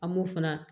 An m'o fana